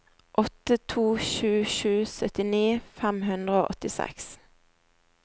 åtte to sju sju syttini fem hundre og åttiseks